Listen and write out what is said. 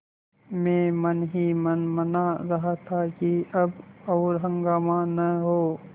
मैं मन ही मन मना रहा था कि अब और हंगामा न हो